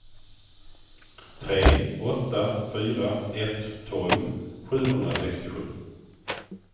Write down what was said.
tre åtta fyra ett tolv sjuhundrasextiosju